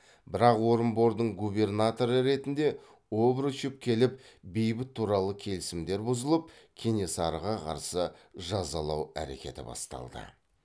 бірақ орынбордың губернаторы ретінде обручев келіп бейбіт туралы келісімдер бұзылып кенесарыға қарсы жазалау әрекеті басталды